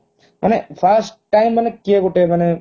ମାନେ first time ମାନେ କିଏ ଗୋଟେ ମାନେ